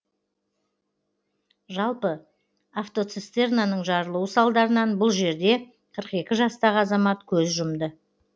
жалпы атвоцистернаның жарылуы салдарынан бұл жерде қырық екі жастағы азамат көз жұмды